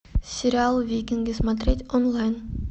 сериал викинги смотреть онлайн